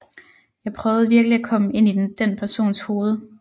Jeg prøvede virkelig at komme ind i den persons hoved